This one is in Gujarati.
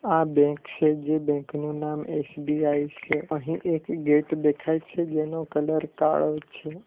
આ બેંક છે જે બેંકનું નામ એસ_બી_આઈ સે અહીં એક ગેટ દેખાય છે જેનો કલર કાળો છે.